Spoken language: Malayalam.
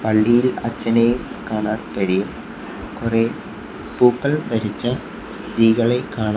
പള്ളിയിൽ അച്ഛനെയും കാണാൻ കഴിയും കുറേ പൂക്കൾ ധരിച്ച സ്ത്രീകളെ കാണാം.